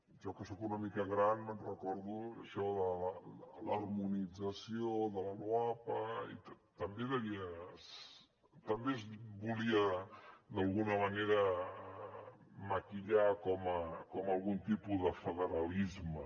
jo que soc una mica gran me’n recordo d’això de l’ harmonització de la loapa i també es volia d’alguna manera maquillar com a algun tipus de federalisme